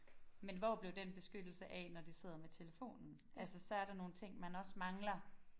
Men hvor blev den beskyttelse af når de sidder med telefonen altså så er der nogle ting man også mangler